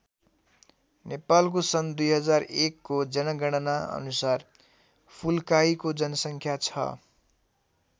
नेपालको सन् २००१को जनगणना अनुसार फुल्काहीको जनसङ्ख्या छ।